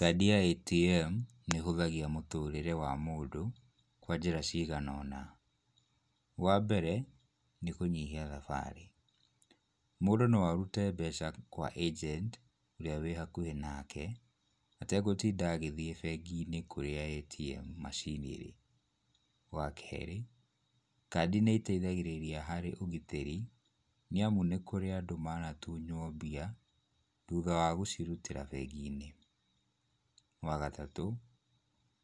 Kadi ya ATM nĩĩhũthagia mũtũrĩre wa mũndũ kwa njĩra ciganona. Wambere nĩ kũnyihia thabarĩ. Mũndũ no arute mbeca kwa agent ũrĩa wĩ hakuhĩ nake ategũtinda agĩthiĩ bengi-inĩ kũrĩa ATM machine ĩrĩ. Wakerĩ kadi nĩĩteithagĩrĩria harĩ ũgitĩri nĩamu nĩkũrĩ na andũ manatunywo mbia thutha wa gũcirutĩra bengi-inĩ. Wagatatũ,